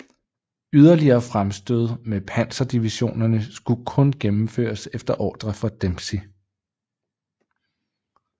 Yderligere fremstød med panserdivisionerne skulle kun gennemføres efter ordre fra Dempsey